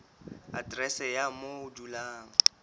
aterese ya moo o dulang